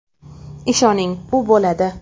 Ishoning, u bo‘ladi.